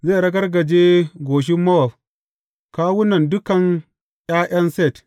Zai ragargaje goshin Mowab, kawunan dukan ’ya’yan Set.